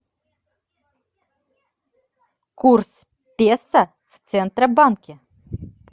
курс песо в центробанке